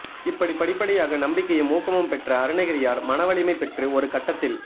இப்படி படிப்படியாக நம்பிக்கையும் ஊக்கமும் பெற்ற அருணகிரியார் மன வலிமை பெற்று ஒரு கட்டத்தில்